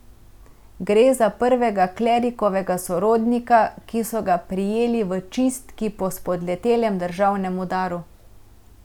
Gre za prvega klerikovega sorodnika, ki so ga prijeli v čistki po spodletelem državnem udaru.